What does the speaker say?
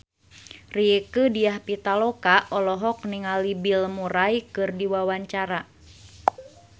Rieke Diah Pitaloka olohok ningali Bill Murray keur diwawancara